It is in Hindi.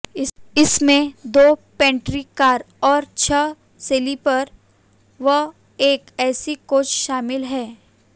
इनमें दो पैंट्री कार और छह स्लीपर व एक एसी कोच शामिल हैं